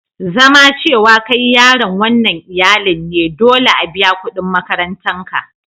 Zama cewa kai yaron wanan iyallin ne, dolle a biya kudin makarantan ka.